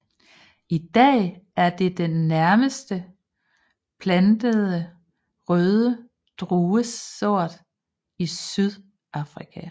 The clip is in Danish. I dag er det den næstmest plantede røde druesort i Sydafrika